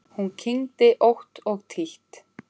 Hún kyngdi ótt og títt.